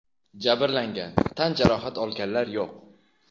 Jabrlangan, tan jarohat olganlar yo‘q.